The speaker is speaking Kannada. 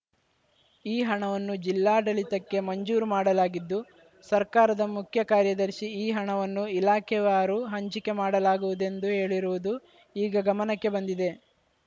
ಈ ಹಣವನ್ನು ಜಿಲ್ಲಾಡಳಿತಕ್ಕೆ ಮಂಜೂರು ಮಾಡಲಾಗಿದ್ದು ಸರ್ಕಾರದ ಮುಖ್ಯ ಕಾರ್ಯದರ್ಶಿ ಈ ಹಣವನ್ನು ಇಲಾಖೆವಾರು ಹಂಚಿಕೆ ಮಾಡಲಾಗುವುದೆಂದು ಹೇಳಿರುವುದು ಈಗ ಗಮನಕ್ಕೆ ಬಂದಿದೆ